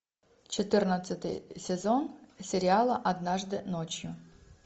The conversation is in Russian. четырнадцатый сезон сериала однажды ночью